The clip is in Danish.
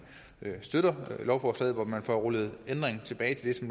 støtter lovforslaget hvor man får rullet ændringen tilbage til